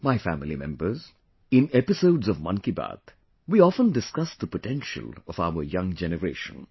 My family members, in episodes of 'Mann Ki Baat', we often discuss the potential of our young generation